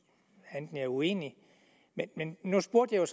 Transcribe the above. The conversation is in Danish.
er uenig nu spurgte jeg